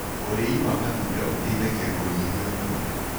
Ũrĩĩ wa matunda ũteĩthagĩa kũnyĩhĩa ũnorũ